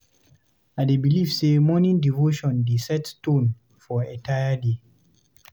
I dey believe say morning devotion dey set tone for entire day.